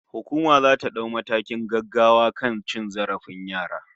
Hukuma zata dau matakin gaggawa akan cin zarafin yara